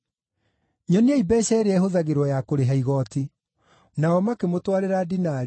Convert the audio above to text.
Nyoniai mbeeca ĩrĩa ĩhũthagĩrwo ya kũrĩha igooti.” Nao makĩmũtwarĩra dinari,